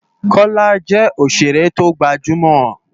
Kola jè óṣéré tógbájúmò